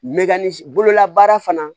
bololabaara fana